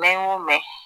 N'an y'o mɛn